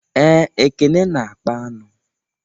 Ee, Ekene na akpa aṅụ